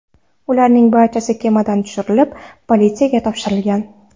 Ularning barchasi kemadan tushirilib, politsiyaga topshirilgan.